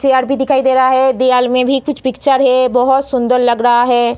Chair भी दिखाई दे रहा है दियाल में भी कुछ पिक्चर है बहुत सुंदर लग रहा है।